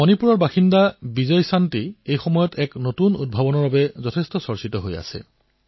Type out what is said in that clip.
মণিপুৰৰ বাসিন্দা বিজয়শান্তিয়ে এক নতুন উদ্ভাৱন ব্যৱহাৰ কৰিছে যি খুব চৰ্চাত আছে